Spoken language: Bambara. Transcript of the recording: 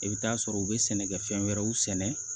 I bɛ t'a sɔrɔ u bɛ sɛnɛkɛfɛn wɛrɛw sɛnɛ